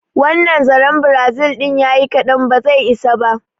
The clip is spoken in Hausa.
Wannan zaren Brazil din ya yi ƙadan, ba zai isa ba.